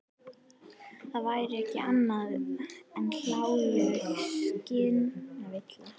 Það væri ekki annað en hláleg skynvilla.